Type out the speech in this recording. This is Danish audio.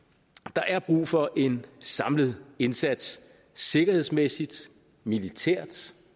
der er brug for en samlet indsats sikkerhedsmæssigt militært